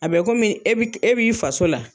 A bɛ komi e b'i k e b'i faso la